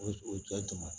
O o jɔyɔrɔ